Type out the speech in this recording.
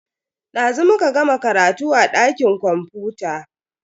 Dazu muka gama karatu a dakin kwamfuta.